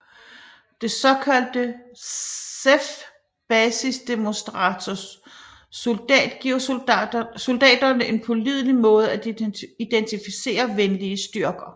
Det såkaldte ZEFF Basisdemonstrator Soldat giver soldaterne en pålidelig måde at identificere venlige styrker